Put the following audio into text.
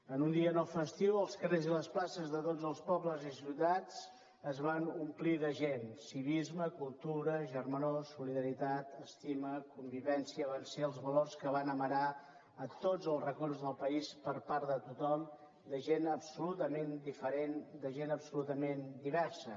en un dia no festiu els carrers i les places de tots els pobles i ciutats es van omplir de gent civisme cultura germanor solidaritat estima convivència van ser els valors que van amarar tots els racons del país per part de tothom de gent absolutament diferent de gent absolutament diversa